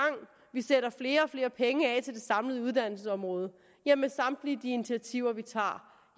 vi sætter flere og flere penge af til det samlede uddannelsesområde ja med samtlige de initiativer vi tager